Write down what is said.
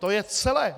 To je celé.